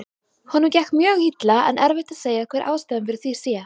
Honum gekk mjög illa en erfitt að segja hver ástæðan fyrir því sé.